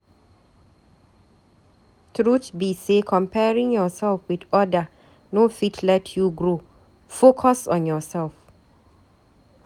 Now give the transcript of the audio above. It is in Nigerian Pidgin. Truth be sey comparing yoursef with other no fit let you grow, focus on yoursef.